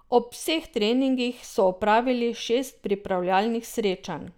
Ob vseh treningih so opravili šest pripravljalnih srečanj.